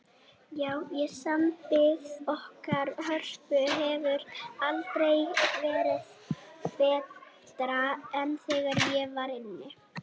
Já, og sambandið okkar Hörpu hefur aldrei verið betra en þegar ég var inni.